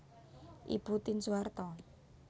Ibu Tien Soeharto